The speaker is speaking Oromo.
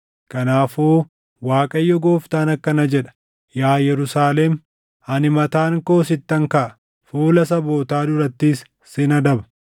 “Kanaafuu Waaqayyo Gooftaan akkana jedha: Yaa Yerusaalem, ani mataan koo sittan kaʼa; fuula sabootaa durattis sin adaba.